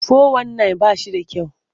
Fo-wan-nayin ba shi da kyau.